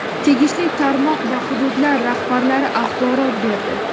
tegishli tarmoq va hududlar rahbarlari axborot berdi.